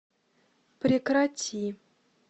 прекрати